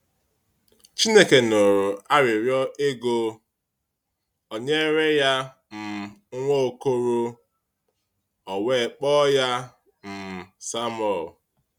Chineke nụrụ arịrịọ Égó, o nyere ya um nwa okoro, o wee kpọọ ya um Sámuél.